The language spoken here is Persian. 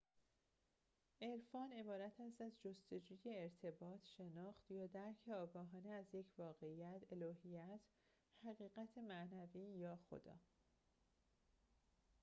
عرفان عبارت است از جستجوی ارتباط شناخت یا درک آگاهانه از یک واقعیت الوهیت حقیقت معنوی یا خدا